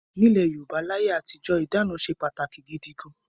Nílẹ̀ Yorùbá láyé àtijọ́ ìdáná ṣe pàtàkì gidi gan-an.